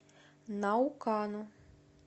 наукану